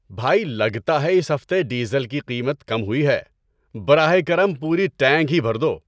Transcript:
بھائی، لگتا ہے اس ہفتے ڈیزل کی قیمت کم ہوئی ہے۔ براہ کرم پوری ٹینک ہی بھر دو۔